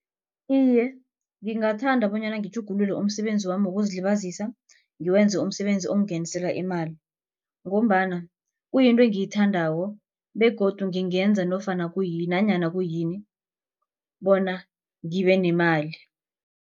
Iye, ngingathanda bonyana ngitjhugulule umsebenzami wokuzilibazisa ngiwenze umsebenzi ongingenisela imali. Ngombana kuyinto engiyithandako begodu ngingenza nofana kuyini nanyana kuyini bona ngibe nemali.